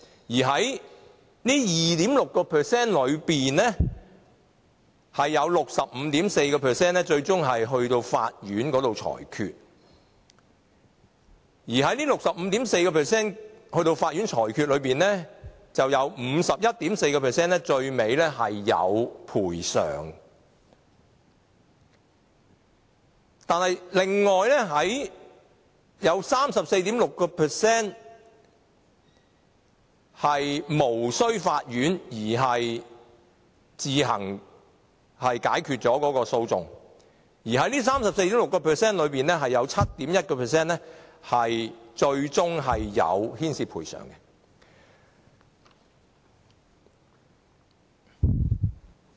而這 65.4% 尋求法院裁決的個案中，有 51.4% 最終獲得賠償。但另外有 34.6% 是無須經法院自行解決了有關的訴訟，而在這 34.6% 中，有 7.1% 最終牽涉賠償。